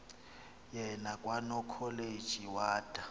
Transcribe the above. yena kwanokholeji wada